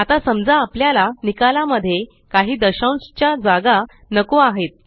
आता समजा आपल्याला निकाला मध्ये काही दशांश च्या जागा नको आहेत